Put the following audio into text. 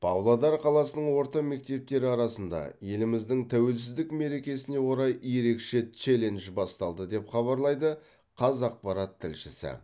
павлодар қаласының орта мектептері арасында еліміздің тәуелсіздік мерекесіне орай ерекше челлендж басталды деп хабарлайды қазақпарат тілшісі